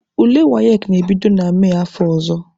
Ule WAEC na-ebido na Mee afọ ọzọ.